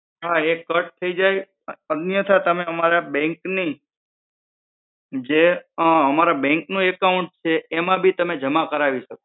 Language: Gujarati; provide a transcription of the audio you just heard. હા એ cut થઇ જાય અથવા તમે અમારા bank ની જે અમારા bank નું account છે એમાં પણ તમે જમા કરાવી શકો